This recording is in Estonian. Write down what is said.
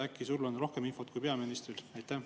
Äkki sul on rohkem infot kui peaministril?